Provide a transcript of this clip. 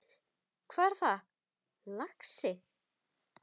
Hvað er það, lagsi?